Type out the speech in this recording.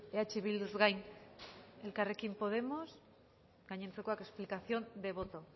eh bilduz gain elkarrekin podemos gainontzekoak explicación de voto